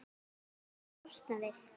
Viltu losna við-?